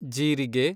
ಜೀರಿಗೆ